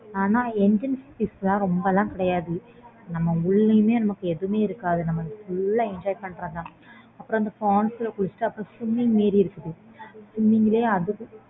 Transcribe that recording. ஆனா entrance fees லாம் ரொம்ப லாம் கிடயாது நம்ம உள்ளயுமே நமக்கு எதுமே இருக்காது அப்புறம் அந்த falls ல குளிச்சிட்டு அப்புறம் அந்த swimming இருக்கு